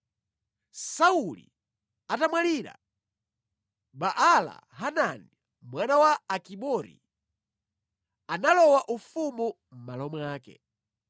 Sauli atamwalira, Baala-Hanani, mwana wa Akibori analowa ufumu mʼmalo mwake.